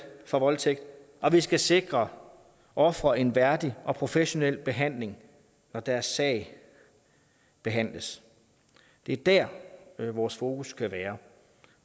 for voldtægt og vi skal sikre ofre en værdig og professionel behandling når deres sag behandles det er der vores fokus skal være